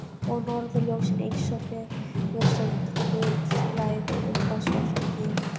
Og norðurljósin eins og fegurstu glitslæður uppi á svörtum himni.